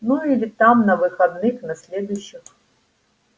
ну или там на выходных на следующих